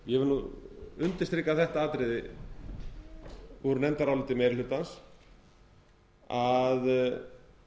ég vil nú undirstrika þetta atriði úr nefndaráliti meiri hlutans að það